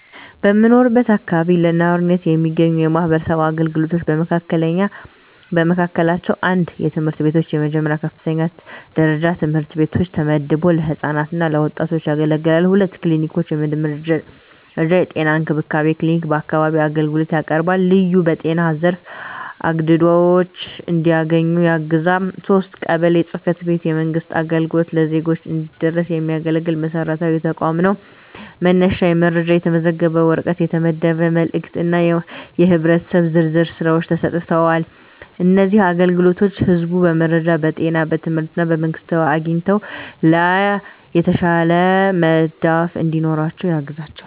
በምኖርበት አካባቢ ለነዋሪዎች የሚገኙ የማህበረሰብ አገልግሎቶች በመካከላቸው፣ 1. ትምህርት ቤቶች፣ የመጀመሪያ እና የከፍተኛ ደረጃ ትምህርት ቤቶች ተመድበው ለህፃናት እና ወጣቶች ያገለግላሉ። 2. ክሊኒኮች፣ የመጀመሪያ ደረጃ የጤና እንክብካቤ ክሊኒክ በአካባቢው አገልግሎት ያቀርባል፣ ልዩ በጤና ዘርፍ አግድዶች እንዲያገኙ ያግዛል። 3. ቀበሌ ጽ/ቤት፣ የመንግሥት አገልግሎት ለዜጎች እንዲደረስ የሚያገለግል መሰረታዊ ተቋም ነው፤ መነሻ የመረጃ፣ የተመዘገበ ወረቀት፣ የተመደበ መልእክት እና የህብረተሰብ ዝርዝር ሥራዎች ተሰጥተዋል። እነዚህ አገልግሎቶች ህዝቡ በመረጃ፣ በጤና፣ በትምህርት እና በመንግስታዊ አግኝቶች ላይ የተሻለ መዳፍ እንዲኖራቸው ያግዛቸዋል።